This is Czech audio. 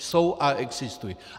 Jsou a existují.